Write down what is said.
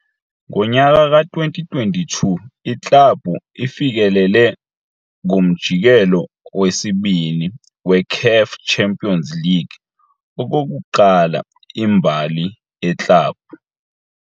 Ngonyaka ka-2022, iklabhu ifikelele kuMjikelo weSibini weCAF Champions League okokuqala imbali yeklabhu.